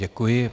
Děkuji.